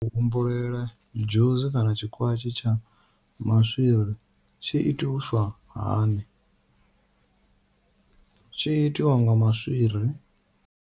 U humbulela dzhusi kana tshikwatshi tsha maswiri tshi itiswa hani, tshi itiwa nga maswiri.